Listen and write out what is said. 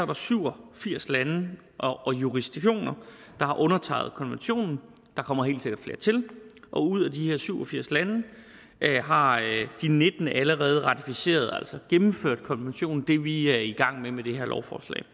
der syv og firs lande og jurisdiktioner der har undertegnet konventionen der kommer helt sikkert flere til og ud af de her syv og firs lande har de nitten allerede ratificeret altså gennemført konventionen det vi er i gang med med det her lovforslag